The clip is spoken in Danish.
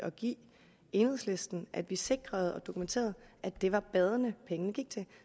at give enhedslisten at vi sikrede og dokumenterede at det var bade pengene gik til